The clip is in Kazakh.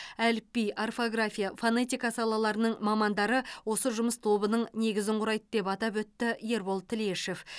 әліпби орфография фонетика салаларының мамандары осы жұмыс тобының негізін құрайды деп атап өтті ербол тілешов